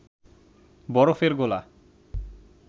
বরফের গোলা